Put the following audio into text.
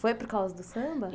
Foi por causa do samba?